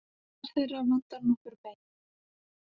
Í flestar þeirra vantar nokkur bein.